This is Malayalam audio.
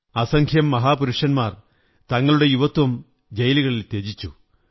അസംഖ്യം മഹാപുരുഷന്മാർ തങ്ങളുടെ യുവത്വം ജയിലുകളിൽ ത്യജിച്ചു